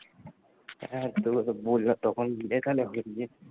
হ্যাঁ,